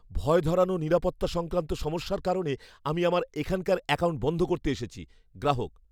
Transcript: ভয় ধরানো নিরাপত্তা সংক্রান্ত সমস্যার কারণে আমি আমার এখানকার অ্যাকাউন্ট বন্ধ করতে এসেছি গ্রাহক।